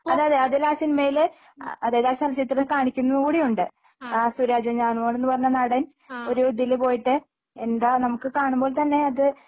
അതെ അതെ അതിലാ സിനിമയില് ആ അതായത് ചലച്ചിത്രത്തില് കാണിക്കുന്നുകൂടിയുണ്ട് ആ സുരാജ് വെഞ്ഞാറമൂട്ന്ന് പറഞ്ഞ നടൻ ഒരു ഇതില് പോയിട്ട് എന്താ നമുക്ക് കാണുമ്പോ തന്നെയാത്